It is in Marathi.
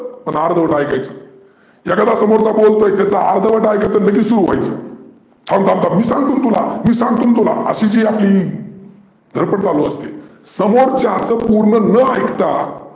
अर्धवट ऐकायचं एखादा समोरचा बोलतोय त्याचं अर्धवट ऐकायचं आन लगेचच सुरू व्हायचं थांब थांब थांब मी सांगतो ना तुला, मी सांगतो ना तुला आशी जी आपली धडपड चालू असते समोरच्याचं पुर्ण न ऐकता